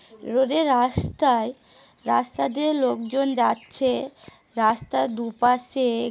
রোদে রাস্তায় রাস্তা দিয়ে লোকজন যাচ্ছে রাস্তার দু পাশে--